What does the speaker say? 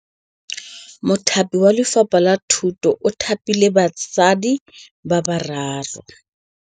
Mothapi wa Lefapha la Thutô o thapile basadi ba ba raro.